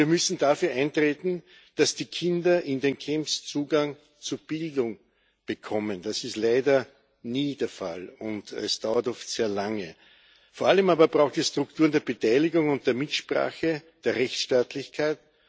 Wir müssen dafür eintreten, dass die Kinder in den Camps Zugang zu Bildung bekommen. Das ist leider nie der Fall, und es dauert oft sehr lange. Vor allem aber braucht es Strukturen der Beteiligung und der Mitsprache, der Rechtstaatlichkeit.